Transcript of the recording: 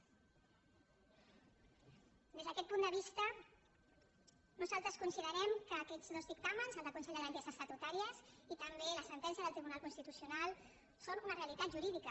des d’aquest punt de vista nosaltres considerem que aquests dos dictàmens el del consell de garanties estatutàries i també la sentència del tribunal constitucional són una realitat jurídica